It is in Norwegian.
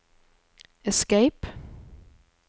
escape